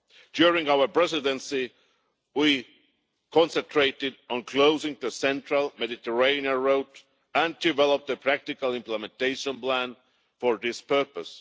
During our presidency we concentrated on closing the central Mediterranean route and developed a practical implementation plan for this purpose.